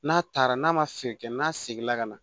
N'a taara n'a ma feere kɛ n'a seginna ka na